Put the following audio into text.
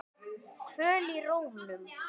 Kvöl í rómnum.